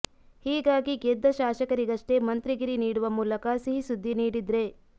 ಹೀಗಾಗಿ ಗೆದ್ದ ಶಾಸಕರಿಗಷ್ಟೇ ಮಂತ್ರಿಗಿರಿ ನೀಡುವ ಮೂಲಕ ಸಿಹಿ ಸುದ್ದಿ ನೀಡಿದ್ರೇ